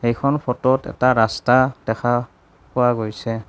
এইখন ফটোত এটা ৰাস্তা দেখা পোৱা গৈছে।